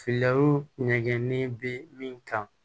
ɲɛgɛnnen bɛ min kan